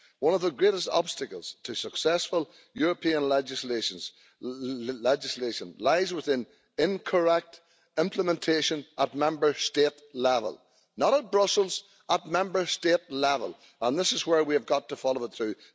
One of the greatest obstacles to successful European legislation lies within incorrect implementation at Member State level not at Brussels, at Member State level and this is where we have got to follow it through.